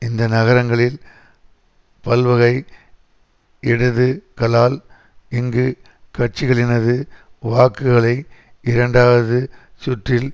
இந்த நகரங்களில் பல்வகை இடது களால் இங்கு கட்சிகளினது வாக்குகளை இரண்டாவது சுற்றில்